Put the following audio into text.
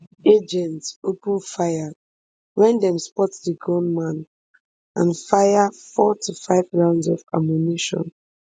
agents open fire wen dem spot di gunman and fire four to five rounds of ammunition